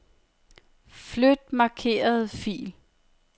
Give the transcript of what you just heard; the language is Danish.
Flyt markerede fil.